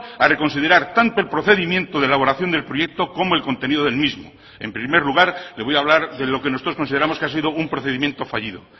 a reconsiderar tanto el procedimiento de elaboración del proyecto como el contenido del mismo en primer lugar le voy a hablar de lo que nosotros consideramos que ha sido un procedimiento fallido